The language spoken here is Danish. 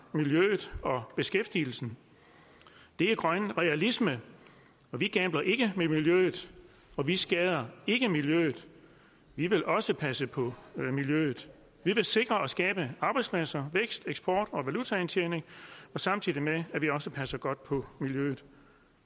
miljøet og beskæftigelsen det er grøn realisme vi gambler ikke med miljøet og vi skader ikke miljøet vi vil også passe på miljøet vi vil sikre og skabe arbejdspladser vækst eksport og valutaindtjening samtidig med at vi også passer godt på miljøet